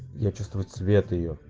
я чувствую цвет её